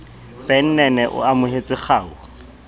ben nene o amohetse kgau